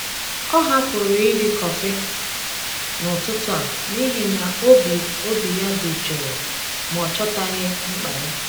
Ọ hapụrụ iri kọfị n’ụtụtụ a n’ihi na obi obi ya dị jụụ ma ọ chọtaghị mkpa ya.